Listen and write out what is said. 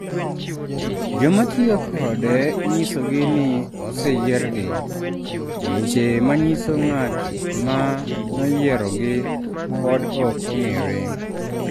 Joma tiyo kode inyisogi ni oseyiergi, to weche ma nyiso ng’at ma noyiergi pod ok ong’ere.